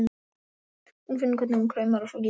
Hún finnur hvernig hún kraumar og svo gýs hún.